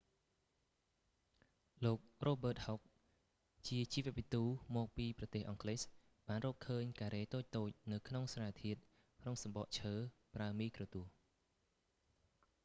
លោក រ៉ូប៊ឺត ហុក robert hooke ជាជីវវិទូមកពីប្រទេសអង់គ្លេសបានឃើញការ៉េតូចៗនៅសារធាតុក្នុងសម្បកឈើប្រើមីក្រូទស្សន៍